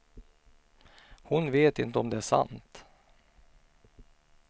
Hon vet inte om det är sant.